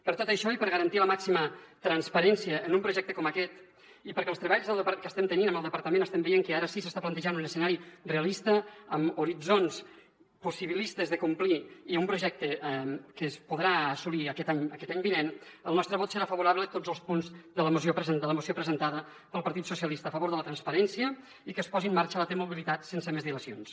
per tot això i per garantir la màxima transparència en un projecte com aquest i perquè als treballs que estem tenint amb el departament estem veient que ara sí que s’està plantejant un escenari realista amb horitzons possibilistes de complir i amb un projecte que es podrà assolir aquest any vinent el nostre vot serà favorable a tots els punts de la moció presentada pel partit socialistes a favor de la transparència i que es posi en marxa la t mobilitat sense més dilacions